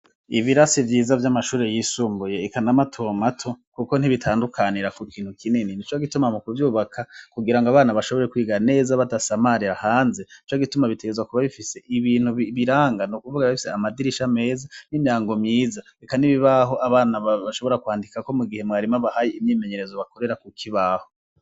Ibirasi vyiza vy'amashuri yisumbuye ikanamatomato, kuko ntibitandukanira ku kintu kinini ni co gituma mu kuvyubaka kugira ngo abana bashobore kwiga neza badasamaria hanze co gituma bitegezwa kuba bifise ibintu biranga no kuvuga bifise amadirisha ameza n'imrango myiza beka n'ibibaho abana bashobora kwandikako mu gihe mwarimo bahaye imyimenyerezo bakorera kuki ibaho.